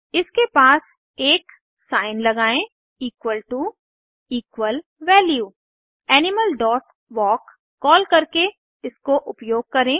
इसके पास एक साइन लगाएं equal to animal dot walk call करके इसको उपयोग करें